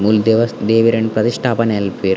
ಮೂಲು ದೇವಸ್ ದೇವೆರೆನ್ ಪರಿಷ್ಟಾಪನೆ ಮನ್ಪುವೆರ್.